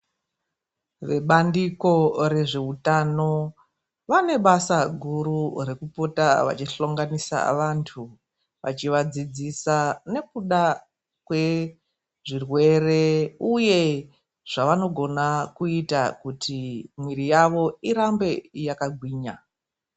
Vebandiko rezveutano vane basa guru rekupota vechihlonganisa vantu, vechivadzidzisa nekuda kwe zvirwere uye zvavanogona kuita kuti muiri yavo irambe yakagwinya.